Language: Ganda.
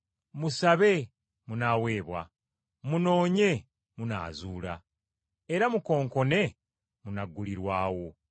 “Musabe, munaaweebwa. Munoonye, munaazuula. Era mukonkone munaggulirwawo.